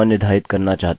अतः unset cookie